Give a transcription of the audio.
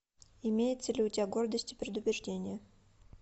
имеется ли у тебя гордость и предубеждение